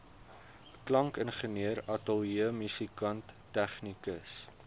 klankingenieur ateljeemusikant tegnikus